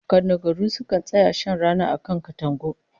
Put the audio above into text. Kadangaru sukan tsaya shan rana a kan katangu